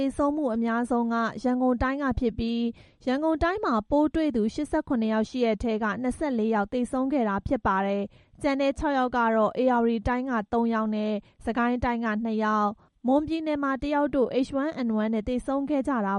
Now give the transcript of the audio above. ေဆုံးမှုအများဆုံးမှာ ရန်ကုန်တိုင်းကဖြစ်ပြီး ရန်ကုန်တိုင်းမှာ ပိုးတွေ့သူ ၈၇ ဦး ရှိတဲ့ထဲက ၂၄ ဦး သေဆုံးခဲ့ တာဖြစ်ပါတယ်။ ကျန်တဲ့ ၆ ယောက်ကတော့ ဧရာဝတီတိုင်းက သုံးယောက်နဲ့ စစ်ကိုင်းတိုင်းက နှစ်ယောက်၊ မွန်ပြည်နယ်မှာ တစ်ယောက်တို့ H1N1 နဲ့ သေဆုံးခဲ့ကြတာ